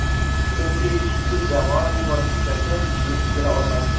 Chunki kuchsiz jamoa bu bosqichgacha yetib kela olmasdi.